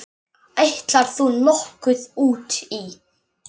Ætlar þú nokkuð út í?